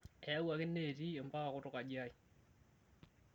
Eyauaki neeti mpaka kutuk aji ai